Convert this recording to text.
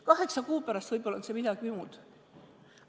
Kaheksa kuu pärast võib-olla on see midagi muud.